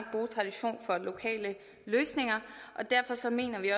og lokale løsninger og derfor mener vi